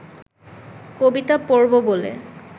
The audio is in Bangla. কবিতা পড়ব বলে